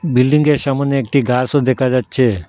বিল্ডিংগের সামোনে একটি গাসও দেখা যাচ্ছে।